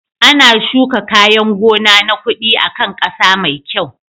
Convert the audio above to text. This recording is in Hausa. Ana shuka kayan gona na kuɗi a kan ƙasa mai kyau.